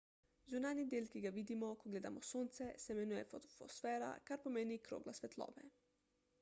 zunanji del ki ga vidimo ko gledamo sonce se imenuje fotosfera kar pomeni krogla svetlobe